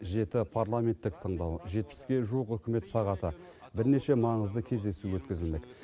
жеті парламенттік тыңдау жетпіске жуық үкімет сағаты бірнеше маңызды кездесу өткізілмек